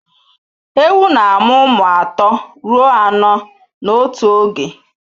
Ewu na-amụ ụmụ atọ ruo anọ n'otu oge